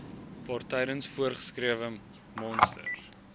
waartydens voorgeskrewe monsters